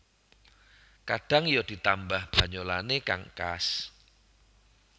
Kadhang ya ditambah banyolanne kang khas